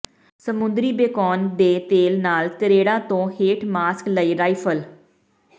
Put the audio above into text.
ਸਮੁੰਦਰੀ ਬੇਕੋਨ ਦੇ ਤੇਲ ਨਾਲ ਤਰੇੜਾਂ ਤੋਂ ਹੋਠ ਮਾਸਕ ਲਈ ਰਾਈਫਲ